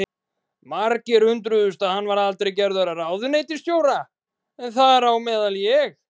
Margir undruðust að hann var aldrei gerður að ráðuneytisstjóra, þar á meðal ég.